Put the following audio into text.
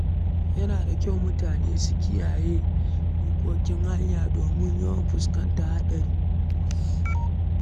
Yana da kyau mutane su ke kiyaye dokokin hanya don rage yawan afkuwar haɗari.